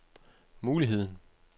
muligheden